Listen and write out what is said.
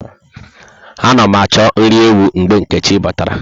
Ana mụ achọ nri ewu mgbe Nkechi bàtàrà